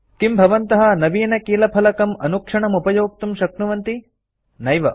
किं भवन्तः नवीनकीलफलकम् कीबोर्ड अनुक्षणमुपयोक्तुं शक्नुवन्ति नैव